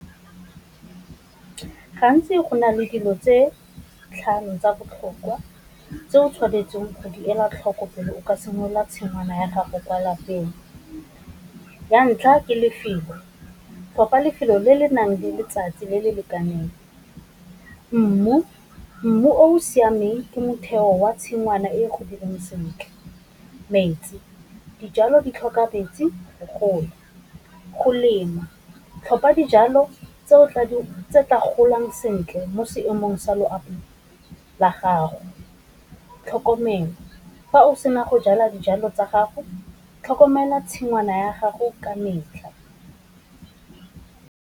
Gantsi go nale dilo tse tlhano tsa botlhokwa tse o tshwanetseng go di ela tlhoko pele o ka simolola tshingwana ya gago kwa lapeng, ya ntlha ke lefelo, kopa lefelo le le nang le letsatsi le le lekaneng. Mmu, mmu o o siameng ke motheo wa tshingwana e godileng sentle. Metsi, dijalo di tlhoka metsi go gola. Go lema, tlhopha dijalo tse tla golang sentle mo seemong sa loapi la gago. Tlhokomelo, fa o sena go jala dijalo tsa gago tlhokomela tshingwana ya gago ka metlha.